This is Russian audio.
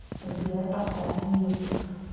сбер поставь мьюзик